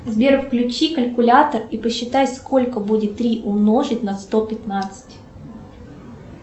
сбер включи калькулятор и посчитай сколько будет три умножить на сто пятнадцать